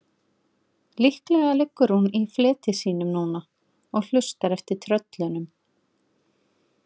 Líklega liggur hún í fleti sínu núna og hlustar eftir tröllinu.